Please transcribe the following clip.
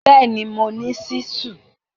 Bẹ́ẹ̀ni, mo ní ṣísù?